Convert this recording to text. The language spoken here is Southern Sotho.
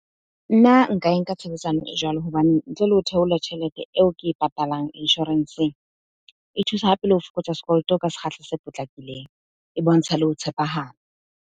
Nna nka e nka tshebedisano e jwalo. Hobane ntle le ho theola tjhelete eo ke e patalang, insurance-ng. E thusa hape le ho fokotsa sekoloto ka sekgahla se potlakileng. E bontsha le ho tshepahala.